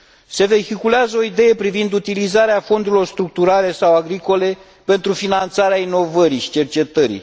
Se vehiculează o idee privind utilizarea fondurilor structurale sau agricole pentru finanțarea inovării și cercetării.